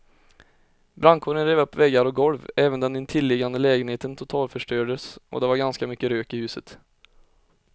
Brandkåren rev upp väggar och golv, även den intilliggande lägenheten totalförstördes och det var ganska mycket rök i huset.